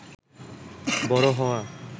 বড় হওয়া